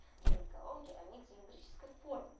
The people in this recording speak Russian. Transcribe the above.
живые колонки они цилиндрической формы